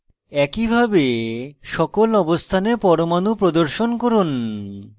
একইভাবে সকল অবস্থানে পরমাণু প্রদর্শন করুন